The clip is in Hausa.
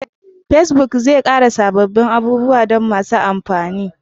Facebook zai ƙara sabbin abubuwa don masu amfani